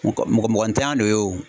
Mɔkɔ mɔgɔ ntanyan de y'o ye o.